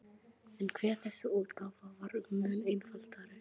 En hve þessi útgáfa var mun einfaldari!